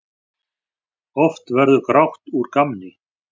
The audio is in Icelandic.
Oft verður grátt úr gamni.